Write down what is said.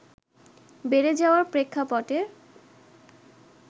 বেড়ে যাওয়ার প্রেক্ষাপটে